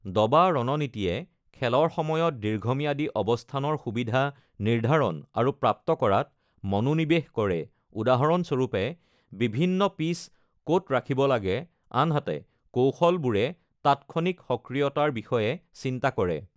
দবা ৰণনীতিয়ে খেলৰ সময়ত দীৰ্ঘম্যাদী অৱস্থানৰ সুবিধা নিৰ্ধাৰণ আৰু প্ৰাপ্ত কৰাত মনোনিৱেশ কৰে, উদাহৰণস্বৰূপে, বিভিন্ন পিচ ক'ত ৰাখিব লাগে আনহাতে কৌশলবোৰে তাৎক্ষণিক সক্ৰিয়তাৰ বিষয়ে চিন্তা কৰে।